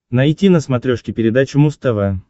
найти на смотрешке передачу муз тв